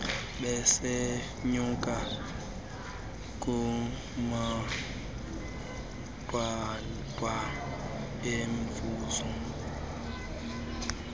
besenyuka kumanqwanqwa emivuzo